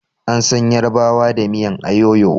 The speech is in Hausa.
An san yarbawa da miyan ayoyo